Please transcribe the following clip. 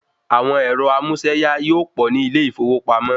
Àwọn ẹ̀rọ amúséyá yíò pọ̀ ní ilé ìfowópamọ́.